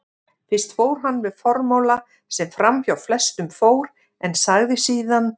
Fyrst fór hann með formála sem framhjá flestum fór, en sagði síðan